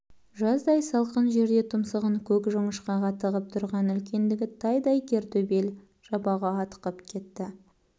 жаздай салқын жерде тұмсығын көк жоңышқаға тығып тұрған үлкендігі тайдай кер төбел жабағы атқып кетті